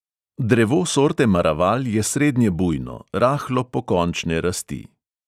Drevo sorte maraval je srednje bujno, rahlo pokončne rasti.